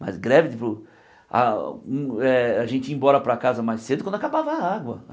Mas greve tipo ah hum eh... A gente ia embora para casa mais cedo quando acabava a água.